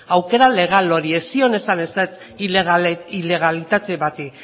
aukera legal horri ez zion esan ezetz ilegalitate bati